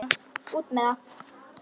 Svona út með það.